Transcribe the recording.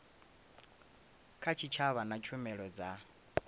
kha tshitshavha na tshumelo dza